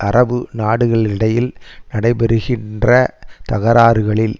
அரபு நாடுகளுகிடையில் நடைபெறுகின்ற தகராறுகளில்